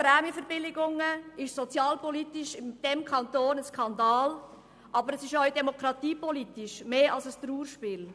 Das Thema Prämienverbilligungen ist sozialpolitisch in diesem Kanton ein Skandal, aber auch demokratiepolitisch ist es mehr als ein Trauerspiel.